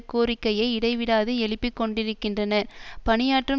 கோரிக்கையை இடைவிடாது எழுப்பி கொண்டிருக்கின்றன பணியாற்றும்